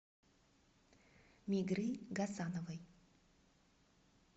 мигры гасановой